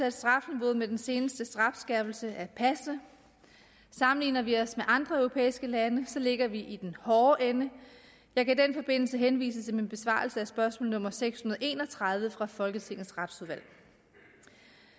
at strafniveauet med den seneste strafskærpelse er passende sammenligner vi os med andre europæiske lande ligger vi i den hårde ende jeg kan i den forbindelse henvise til min besvarelse af spørgsmål nummer seks hundrede og en og tredive fra folketingets retsudvalg